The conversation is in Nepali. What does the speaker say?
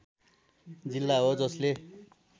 जिल्ला हो जसले